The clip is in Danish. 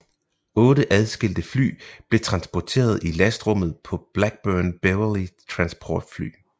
Otte adskilte fly blev transporteret i lastrummet på Blackburn Beverley transportfly